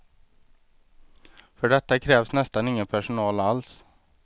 För detta krävs nästan ingen personal alls.